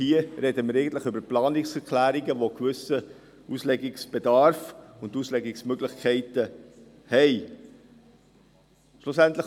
Hier sprechen wir eigentlich über Planungserklärungen, die einen gewissen Auslegungsbedarf und gewisse Auslegungsmöglichkeiten haben.